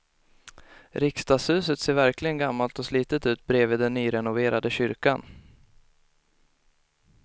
Riksdagshuset ser verkligen gammalt och slitet ut bredvid den nyrenoverade kyrkan.